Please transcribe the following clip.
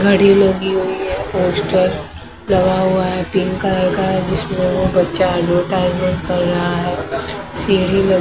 घड़ी में भी वो ही है पोस्टर लगा हुआ है पिंक कलर का जिसमें वो बच्चा एडवर्टाइजमेंट कर रहा है सीढ़ी ल--